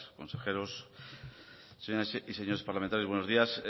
consejeros señoras y señores parlamentarios buenos días